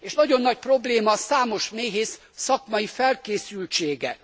És nagyon nagy probléma számos méhész szakmai felkészültsége.